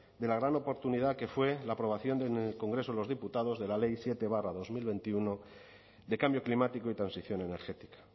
de la gran oportunidad que fue la aprobación en el congreso de los diputados de la ley siete barra dos mil veintiuno de cambio climático y transición energética